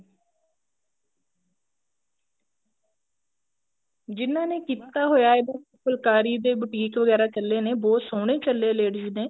ਜਿਨ੍ਹਾਂ ਨੇ ਕੀਤਾ ਹੋਇਆ ਫੁਲਕਾਰੀ ਦੇ boutique ਵਗੈਰਾ ਚੱਲੇ ਨੇ ਬਹੁਤ ਸੋਹਣੇ ਚੱਲੇ ladies ਨੇ